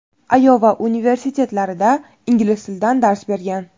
Ayova universitetlarida ingliz tilidan dars bergan.